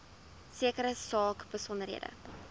sekere saak besonderhede